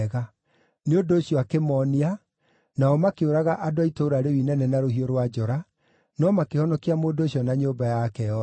Nĩ ũndũ ũcio akĩmoonia, nao makĩũraga andũ a itũũra rĩu inene na rũhiũ rwa njora, no makĩhonokia mũndũ ũcio na nyũmba yake yothe.